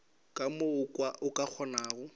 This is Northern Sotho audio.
ka mo o ka kgonago